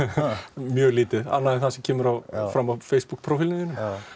mjög lítið annað en það sem kemur fram á Facebook prófílnum þínum